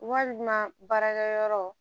Walima baarakɛ yɔrɔ